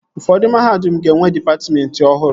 Ụfọdụ mahadum ga-enwe dịpatmentị ọhụrụ